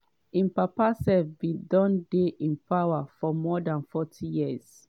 im papa sef bin don dey in power for more dan forty years.